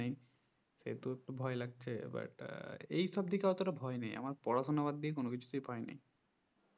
সেহুতু একটু ভয় লাগছে এইবার আহ এইসব দিকে অতটা ভাই নেই আমর পড়াশোনা বাদ দিয়ে কোনকিছুতে ভয় নেই